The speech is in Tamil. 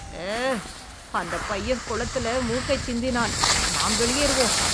அ... அந்தப் பையன் கொளத்தில மூக்கைச் சிந்தினான். நாம் வெளியேறுவோம்.